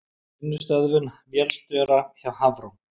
Vinnustöðvun vélstjóra hjá Hafró